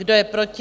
Kdo je proti?